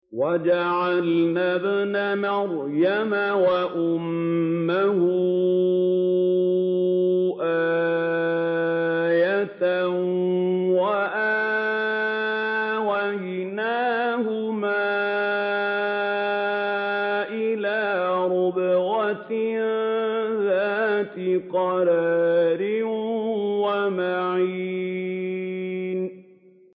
وَجَعَلْنَا ابْنَ مَرْيَمَ وَأُمَّهُ آيَةً وَآوَيْنَاهُمَا إِلَىٰ رَبْوَةٍ ذَاتِ قَرَارٍ وَمَعِينٍ